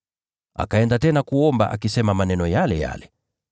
Akaenda tena kuomba, akisema maneno yale yale.